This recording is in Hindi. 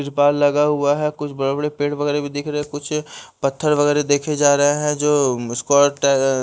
कुछ बाल लगा हुआ है कुछ बड़े-बड़े पेड़ वगैरह भी दिख रहा है कुछ पत्थर वगैरह देखे जा रहे हैं जो स्कोट है।